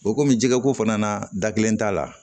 O komi jɛgɛ ko fana na da kelen t'a la